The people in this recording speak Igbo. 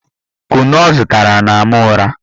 Kunu ọ zụtara na-ama ụra